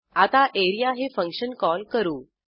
आता एआरईए हे function call करू